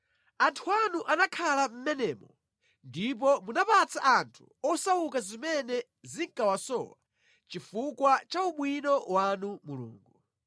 Anthu anu anakhala mʼmenemo ndipo munapatsa anthu osauka zimene zinkawasowa chifukwa cha ubwino wanu Mulungu.